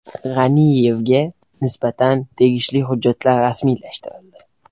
G‘aniyevga nisbatan tegishli hujjatlar rasmiylashtirildi.